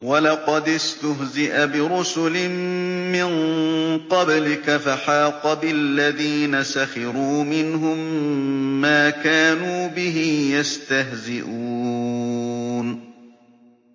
وَلَقَدِ اسْتُهْزِئَ بِرُسُلٍ مِّن قَبْلِكَ فَحَاقَ بِالَّذِينَ سَخِرُوا مِنْهُم مَّا كَانُوا بِهِ يَسْتَهْزِئُونَ